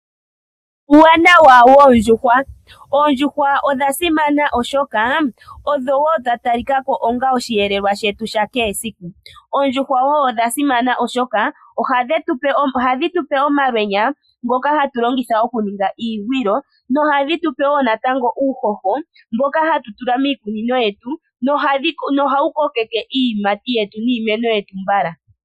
Uuwanawa woondjuhwa. Oondjuhwa odha simana oshoka odho wo dha talika ko onga osheelelwa shetu sha kehe siku. Oondjuhwa wo odha simana oshoka ohadhi tupe omalwenya ngoka hatu longitha okuninga iigwilo nohadhi tupe wo natango uuhoho mboka hatu tula miikunino yetu nohawu kokeke iiyimati yetu niimeno yetu mbala.